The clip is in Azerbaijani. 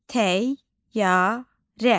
Təyyarə.